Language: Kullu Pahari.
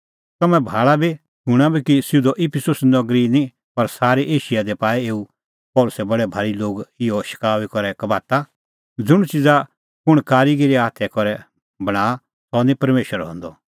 तम्हैं भाल़ा बी और शूणां बी कि सिधअ इफिसुस नगरी ई निं पर सारै एशिया दी पाऐ एऊ पल़सी बडै भारी लोग इहअ शकाऊई करै कबाता ज़ुंण च़िज़ा कुंण कारीगीर हाथा करै बणांआ सह निं परमेशर हंदअ